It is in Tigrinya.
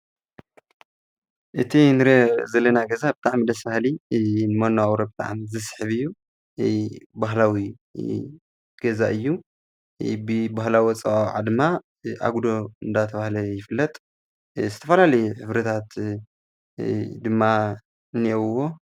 እቲ ንርእዮ ዘለና ገዛ ብጣዕሚ ደስ ብሃሊ ንመነባበሮ ብጣዕሚ ዝስሕብ እዩ:: ባህላዊ ገዛ እዩ በባህላዊ ኣፀዋወዓ ድማ ኣጉዶ እንዳተባሃለ ይፍለጥ ዝተፋላለየ ሕብርታት ደሞ እንሂዎ::